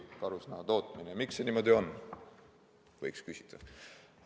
Miks see niimoodi on, võiks küsida.